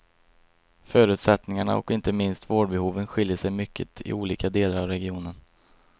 Förutsättningarna och inte minst vårdbehoven skiljer sig mycket i olika delar av regionen.